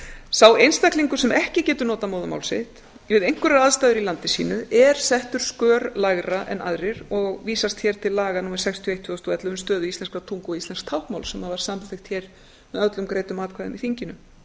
sá einstaklingur sem ekki getur notað móðurmál sitt við einhverjar aðstæður í landi sínu er settur skör lægra en aðrir og vísast hér til laga númer sextíu og eitt tvö þúsund og ellefu um stöðu íslenskrar tungu og íslensks táknmáls sem var samþykkt hér með öllum greiddum atkvæðum í